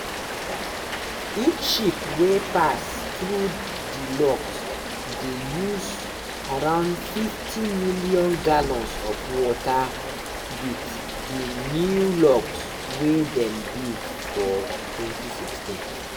each ship wey pass through di locks dey use around 50 million gallons of water wit di new locks wey dem build for 2016.